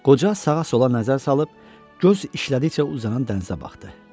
Qoca sağa-sola nəzər salıb, göz işlədikcə uzanan dənizə baxdı.